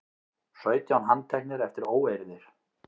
Sautján handteknir eftir óeirðir